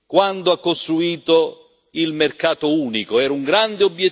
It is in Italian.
Era un grande obiettivo, e oggi questo deve essere il grande obiettivo.